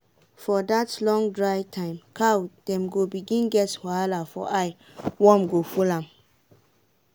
for that long dry time cow dem go begin get wahala for eye worm go full am.